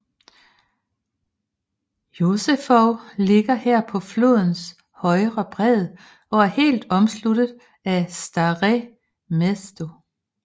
Josefov ligger her på flodens højre bred og er helt omsluttet af Staré Město